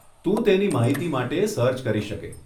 તું તેની માહિતી માટે સર્ચ કરી શકે.